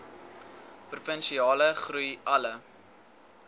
provinsiale groei alle